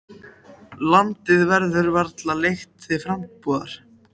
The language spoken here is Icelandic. Landið verður varla leigt til frambúðar.